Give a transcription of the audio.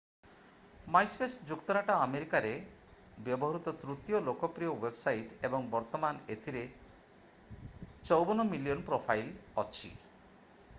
MySpace ଯୁକ୍ତରାଷ୍ଟ୍ର ଆମେରିକାରେ ବ୍ୟବହୃତ ତୃତୀୟ ଲୋକପ୍ରିୟ ୱେବସାଇଟ୍ ଏବଂ ବର୍ତ୍ତମାନ ଏଥିରେ 54 ମିଲିଅନ୍ ପ୍ରୋଫାଇଲ୍ ଅଛି